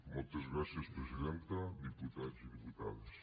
moltes gràcies presidenta diputats i diputades